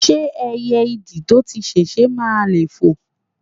ṣé ẹyẹ ìdì to ti sèse máà le foò?